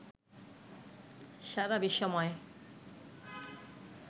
সারা বিশ্বময়